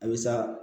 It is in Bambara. A bɛ sa